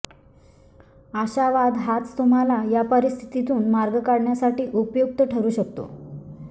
आशावाद हाच तुम्हाला या परिस्थितीतून मार्ग काढण्यासाठी उपयुक्त ठरू शकतो